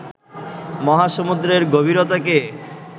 মহাসমুদ্রের গভীরতাকে